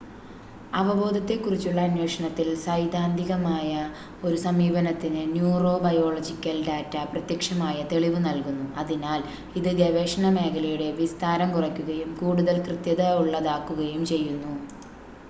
അവബോധത്തെ കുറിച്ചുള്ള അന്വേഷണത്തിൽ സൈദ്ധാന്തികമായ ഒരു സമീപനത്തിന് ന്യുറോബയോളജിക്കൽ ഡാറ്റ പ്രത്യക്ഷമായ തെളിവ് നൽകുന്നു അതിനാൽ ഇത് ഗവേഷണ മേഖലയുടെ വിസ്താരം കുറക്കുകയും കൂടുതൽ കൃത്യത ഉള്ളതാക്കുകയും ചെയ്യുന്നു